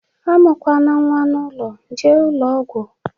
A mụ kwana nwa n'ụlọ, jee ụlọ ọgwụ!